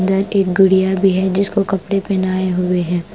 एक गुड़िया भी है जिसको कपड़े पहनाए हुए है ।